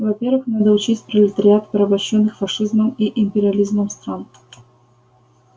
во первых надо учесть пролетариат порабощённых фашизмом и империализмом стран